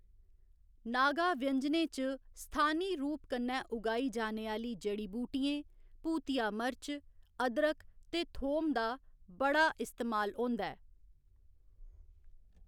नागा व्यंजनें च स्थानी रूप कन्नै उगाई जाने आह्‌ली जड़ी बूटियें, भूतिया मर्च, अदरक ते थोम दा बड़ा इस्तेमाल होंदा ऐ।